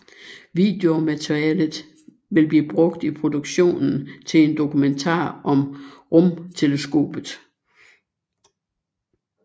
Videomaterialet vil blive brugt i produktionen til en dokumentar om rumteleskopet